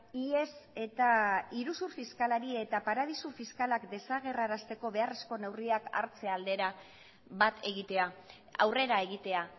ihes eta iruzur fiskalari eta paradisu fiskalak desagerrarazteko beharrezko neurriak hartze aldera bat egitea aurrera egitea